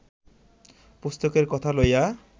পুস্তকের কথা লইয়া